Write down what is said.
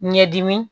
Ɲɛdimi